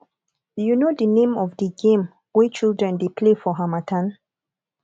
you know the name of di game wey children dey play for harmattan